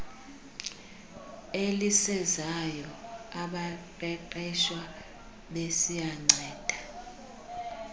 elisezayo abaqeqeshwa besiyanceda